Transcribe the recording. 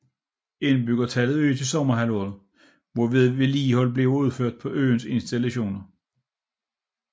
Indbyggertallet øges i sommerhalvåret hvor vedligehold bliver udført på øens installationer